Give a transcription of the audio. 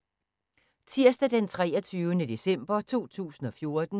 Tirsdag d. 23. december 2014